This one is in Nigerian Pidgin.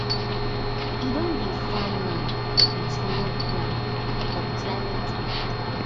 e don dey farm now with new plan for climate matter